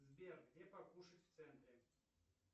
сбер где покушать в центре